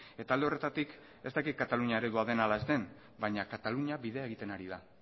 eta alde horretatik ez dakit katalunia eredua den ala ez den baina katalunia bidea egiten ari da